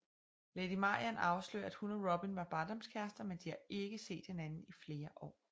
Lady Marian afslører at hun og Robin var barndomskærester men de har ikke set hinanden i flere år